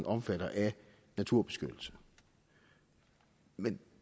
omfattet af naturbeskyttelse men